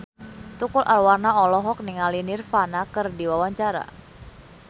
Tukul Arwana olohok ningali Nirvana keur diwawancara